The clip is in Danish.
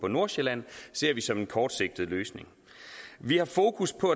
nordsjælland ser vi som en kortsigtet løsning vi har fokus på